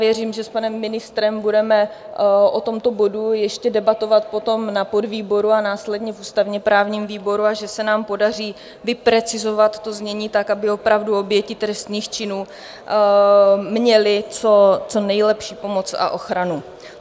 Věřím, že s panem ministrem budeme o tomto bodu ještě debatovat potom na podvýboru a následně v ústavně-právním výboru a že se nám podaří vyprecizovat to znění tak, aby opravdu oběti trestných činů měly co nejlepší pomoc a ochranu.